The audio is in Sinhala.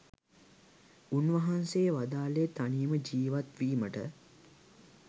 උන්වහන්සේ වදාළේ තනියම ජීවත් වීමට